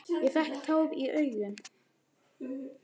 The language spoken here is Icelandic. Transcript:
Ég fékk tár í augun.